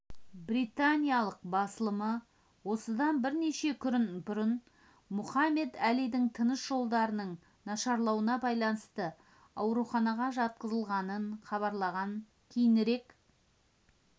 британиялық басылымы осыдан бірнеше күн бұрын мұхаммед әлидің тыныс жолдарының нашарлауына байланысты ауруханаға жатқызылғанын хабарлаған кейінірек